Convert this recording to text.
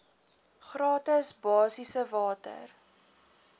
gratis basiese water